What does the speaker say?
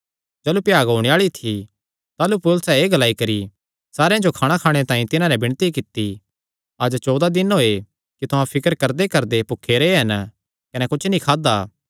जाह़लू भ्याग होणे आल़ी थी ताह़लू पौलुसैं एह़ ग्लाई करी सारेयां जो खाणाखाणे तांई तिन्हां नैं विणती कित्ती अज्ज चौदा दिन होये कि तुहां फिकर करदेकरदे भुखे रैह् हन कने कुच्छ नीं खादा